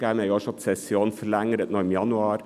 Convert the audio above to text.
Wir verlängerten auch schon die Session im Januar.